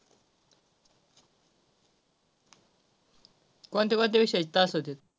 कोणत्या कोणत्या विषयाचे तास होतात.